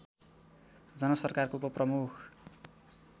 जनसरकारको उपप्रमुख